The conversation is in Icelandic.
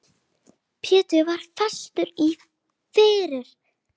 Pétur var fastur fyrir.